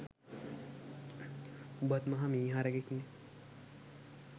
උඹත් මහ මී හරකෙක්නෙ